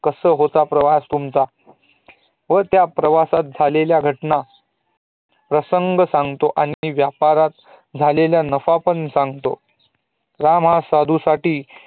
कसा होतं प्रवास तुमचा? व त्या प्रवासात झलेल्या घटना प्रसंग सांगतो आणि व्यापारात झालेला नफाही सागतो त्या साधू साठी